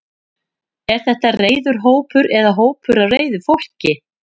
Er þetta reiður hópur eða hópur af reiðu fólki?